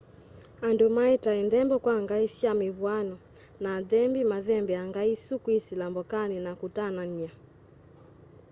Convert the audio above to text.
andu maetae nthembo kwa ngai sya mivw'ano na athembi mathembeaa ngai isu kwisila mbokani na kutanania